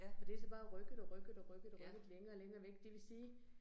Og det så bare rykket og rykket og rykket og rykket længere og længere væk, det vil sige